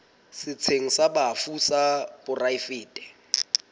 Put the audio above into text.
setsheng sa bafu sa poraefete